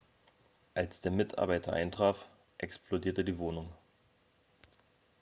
als der mitarbeiter eintraf explodierte die wohnung.x